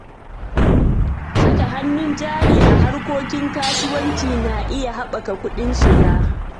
Saka hannun jari a harkokin kasuwanci na iya haɓaka kuɗin shiga.